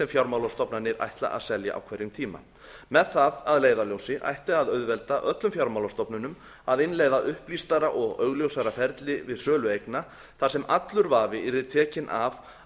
fjármálastofnanir ætla að selja á hverjum tíma með það að leiðarljósi ætti að auðvelda öllum fjármálastofnunum að innleiða upplýstara og augljósara ferli við sölu eigna þar sem allur vafi yrði tekinn af